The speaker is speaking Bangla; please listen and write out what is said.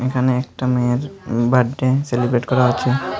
এখানে একটা মেয়ের বার্থডে সেলিব্রেট করা হচ্ছে।